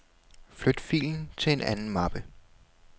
Flyt filen til en anden mappe.